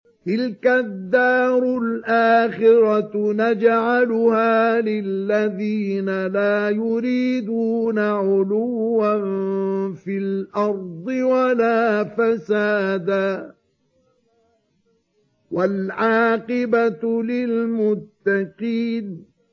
تِلْكَ الدَّارُ الْآخِرَةُ نَجْعَلُهَا لِلَّذِينَ لَا يُرِيدُونَ عُلُوًّا فِي الْأَرْضِ وَلَا فَسَادًا ۚ وَالْعَاقِبَةُ لِلْمُتَّقِينَ